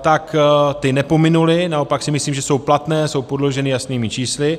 tak ty nepominuly, naopak si myslím, že jsou platné, jsou podloženy jasnými čísly.